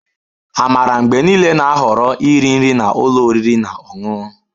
Amara mgbe niile na-ahọrọ iri nri na ụlọ oriri na ọṅụṅụ